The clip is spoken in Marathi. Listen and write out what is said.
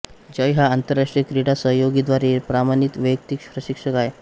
जय हा आंतरराष्ट्रीय क्रीडा सहयोगी द्वारे प्रमाणित वैयक्तिक प्रशिक्षक आहे